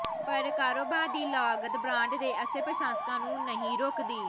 ਪਰ ਕਾਰੋਬਾਰ ਦੀ ਲਾਗਤ ਬ੍ਰਾਂਡ ਦੇ ਅਸਲ ਪ੍ਰਸ਼ੰਸਕਾਂ ਨੂੰ ਨਹੀਂ ਰੋਕਦੀ